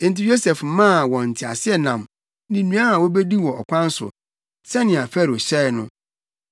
Enti Yosef maa wɔn nteaseɛnam ne nnuan a wobedi wɔ ɔkwan so, sɛnea Farao hyɛe no.